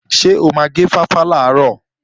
Ṣé o máa gé fáfá làárọ̀?